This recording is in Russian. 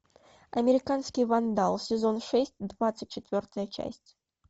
американский вандал сезон шесть двадцать четвертая часть